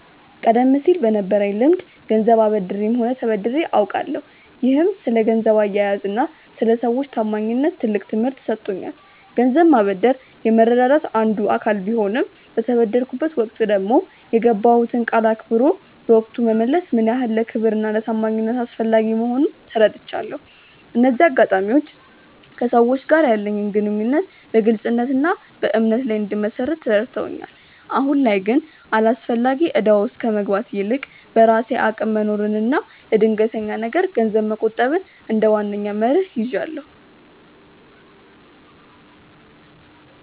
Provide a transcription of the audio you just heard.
ቀደም ሲል በነበረኝ ልምድ ገንዘብ አበድሬም ሆነ ተበድሬ አውቃለሁ፤ ይህም ስለ ገንዘብ አያያዝና ስለ ሰዎች ታማኝነት ትልቅ ትምህርት ሰጥቶኛል። ገንዘብ ማበደር የመረዳዳት አንዱ አካል ቢሆንም፣ በተበደርኩበት ወቅት ደግሞ የገባሁትን ቃል አክብሮ በወቅቱ መመለስ ምን ያህል ለክብርና ለታማኝነት አስፈላጊ መሆኑን ተረድቻለሁ። እነዚህ አጋጣሚዎች ከሰዎች ጋር ያለኝን ግንኙነት በግልጽነትና በእምነት ላይ እንድመሰርት ረድተውኛል። አሁን ላይ ግን አላስፈላጊ እዳ ውስጥ ከመግባት ይልቅ፣ በራሴ አቅም መኖርንና ለድንገተኛ ነገር ገንዘብ መቆጠብን እንደ ዋነኛ መርህ ይዣለሁ።